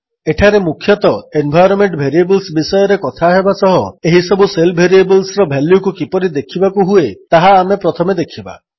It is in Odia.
ଏଠାରେ ମୁଖ୍ୟତଃ ଏନ୍ଭାଇରୋନ୍ମେଣ୍ଟ ଭେରିଏବଲ୍ସ ବିଷୟରେ କଥା ହେବା ସହ ଏହିସବୁ ଶେଲ୍ ଭେରିଏବଲ୍ସର ଭାଲ୍ୟୁକୁ କିପରି ଦେଖିବାକୁ ହୁଏ ତାହା ଆମେ ପ୍ରଥମେ ଦେଖିବା